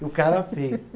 E o cara fez.